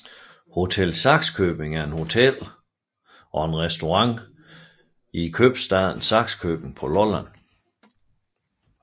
Hotel Saxkjøbing er et hotel og restaurant i købstaden Sakskøbing på Lolland